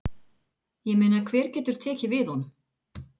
Ég meina hver getur tekið við honum?